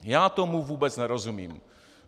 Já tomu vůbec nerozumím.